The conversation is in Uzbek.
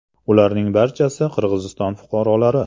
Ularning barchasi Qirg‘iziston fuqarolari.